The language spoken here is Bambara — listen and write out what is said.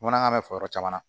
Bamanankan bɛ fɔ yɔrɔ caman na